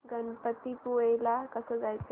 गणपतीपुळे ला कसं जायचं